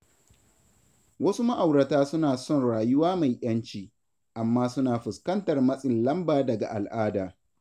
Wasu ma’aurata suna son rayuwa mai ‘yanci, amma suna fuskantar matsin lamba daga al’ada.